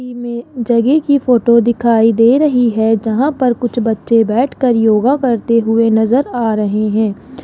We मे जगह की फोटो दिखाई दे रही है जहां पर कुछ बच्चे बैठकर योगा करते हुए नजर आ रहे हैं।